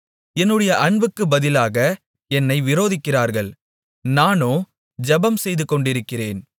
என்னுடைய அன்புக்கு பதிலாக என்னை விரோதிக்கிறார்கள் நானோ ஜெபம் செய்து கொண்டிருக்கிறேன்